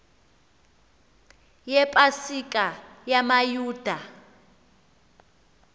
yepa sika yamayuda